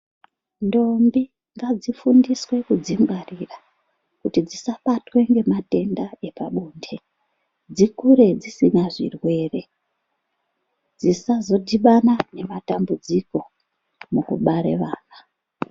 Ndombi ngadzifundiswe kudzingwarira kuti dzisabatwa nematenda epabonde dzikure dzisina zvirwere zvisazodhibana nematambudziko mukubara vana.